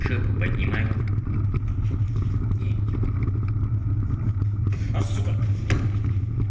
жопу поднимаем и идём а сука